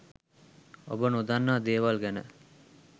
ඔබ නොදන්නා දේවල් ගැන